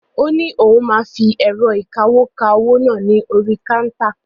Ó ní òun máa fi ẹ̀rọ̀ ìkawó ka owó náà ní orí káńtà.